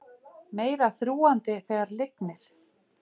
Meira þrúgandi þegar lygnir